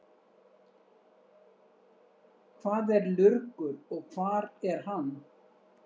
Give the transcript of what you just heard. Hvað er lurgur og hvar er hann?